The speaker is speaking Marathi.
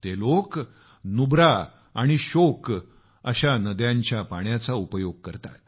त्याचबरोबर नुब्रा आणि श्योक अशा नद्यांच्या पाण्याचा उपयोग करतात